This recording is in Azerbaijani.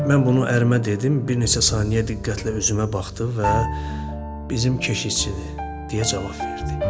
Mən bunu ərimə dedim, bir neçə saniyə diqqətlə üzümə baxdı və "Bizim keşişdir," deyə cavab verdi.